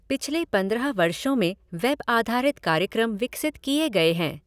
पिछले पंद्रह वर्षों में वेब आधारित कार्यक्रम विकसित किए गए हैं।